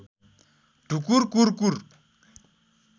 ढुकुर कुर कुर